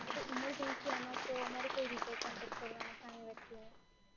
જો કોઈ ઇમર્જન્સિ એમાં તો મારે કઈ રીતે કોન્ટેક કરવાનો સામે વ્યક્તિનો?